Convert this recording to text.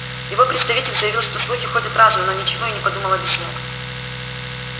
его представитель заявил что слухи ходят разные но ничего и не подумал объяснять